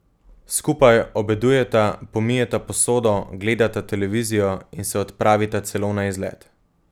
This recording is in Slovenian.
Skupaj obedujeta, pomijeta posodo, gledata televizijo in se odpravita celo na izlet.